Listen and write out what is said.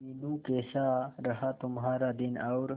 मीनू कैसा रहा तुम्हारा दिन और